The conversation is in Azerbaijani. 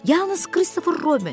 Yalnız Kristofer Robin.